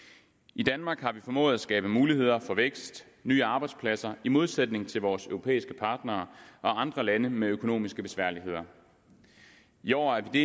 i danmark har vi formået at skabe muligheder for vækst nye arbejdspladser i modsætning til vores europæiske partnere og andre lande med økonomiske besværligheder i år er vi